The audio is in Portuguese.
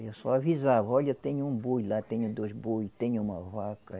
Eu só avisava, olha, tenho um boi lá, tenho dois boi, tenho uma vaca.